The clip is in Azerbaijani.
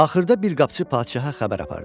Axırda bir qapıçı padşaha xəbər apardı.